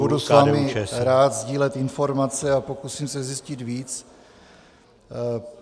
Rád s vámi budu sdílet informace a pokusím se zjistit víc.